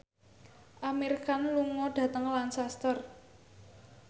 Amir Khan lunga dhateng Lancaster